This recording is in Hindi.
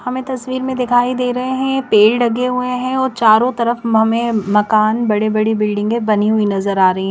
हमे तस्वीर मे दिखाई दे रहे है ये पेड़ लगे हुए है और चारों तरफ हमे मकान बड़े बड़ी बिल्डिंगए बनी हुई नजर आ रही है।